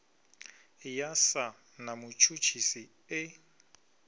ya sa na mutshutshisi e